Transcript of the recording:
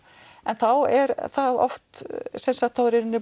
en þá er oft